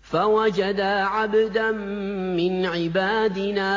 فَوَجَدَا عَبْدًا مِّنْ عِبَادِنَا